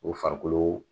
O farikolo